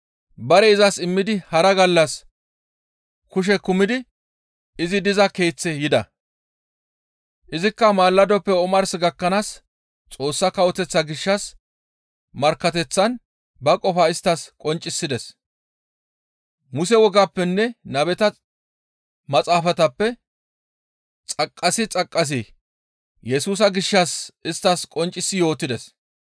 Bare izas immidi hara gallas kushe kumidi izi diza keeththe yida; izikka malladoppe omars gakkanaas Xoossa Kawoteththaa gishshas markkateththan ba qofaa isttas qonccisides. Muse wogappenne nabeta maxaafatappe xaqqasi xaqqasi Yesusa gishshas isttas qonccisi yootides.